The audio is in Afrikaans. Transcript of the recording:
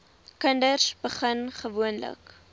kinders begin gewoonlik